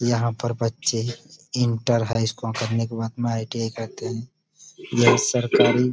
यहाँ पर बच्चे इंटर हाई स्कूल करने के बाद में आइ.टी.आई. करते हैं। यह सरकारी --